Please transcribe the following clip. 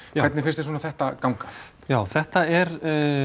hvernig finnst þér þetta ganga já þetta er